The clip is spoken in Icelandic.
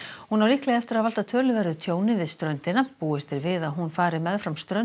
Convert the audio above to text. hún á líklega eftir að valda töluverðu tjóni við ströndina búist er við að hún fari meðfram ströndum